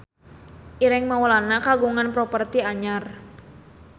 Ireng Maulana kagungan properti anyar